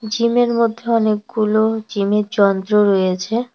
জিমের মধ্যে অনেকগুলো জিমের যন্ত্র রয়েছে।